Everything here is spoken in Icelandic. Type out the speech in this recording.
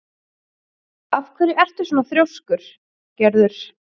Af hverju ertu svona þrjóskur, Gerður?